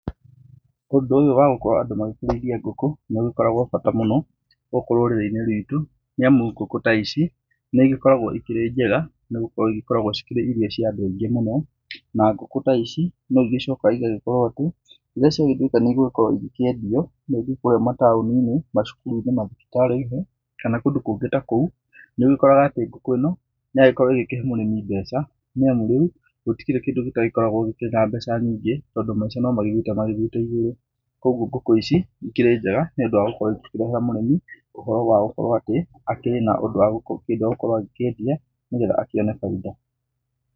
Ũndũ ũyũ ya gũkorwo andũ magĩkĩrĩithia ngũkũ, nĩ ũgĩkoragwo bata mũno, gũkũ rũrĩrĩ-inĩ rwitũ, nĩ amu ngũkũ taici nĩ igĩkoragwo ikĩrĩ njega, nĩ gũkorwo igĩkoragwo ikĩrĩ irio cia andũ aingĩ mũno, na ngũkũ ta ici no igĩcokaga igakorwo atĩ, rĩrĩa ciagĩtuĩka nĩ igũgĩkorwo igĩkĩendio, na ithiĩ kũrĩ mataoni-inĩ, macukuru-inĩ, mathibitarĩ-inĩ, kana kũndũ kũngĩ takũu, nĩ ũgĩkoraga atĩ ngũkũ ĩno, nĩ yagĩkorwo ĩkĩhe mũrĩmi mbeca, nĩ amu rĩu, gũtikĩrĩ kĩndũ gĩtagĩkoragwo gĩkĩrĩ na mbeca nyingĩ, tondũ maica nĩ magĩthiĩte magĩthiĩte igũrũ. Koguo ngũkũ ici, ikĩrĩ njega nĩ ũndũ wa gũkorwo ikĩrehera mũrĩmi ohoro wa gũkorwo atĩ, akĩrĩ na ũndũ wagũ, kĩndũ egũkorwo akĩendia nĩ getha akĩone bainda.